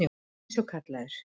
Eins og kallaður.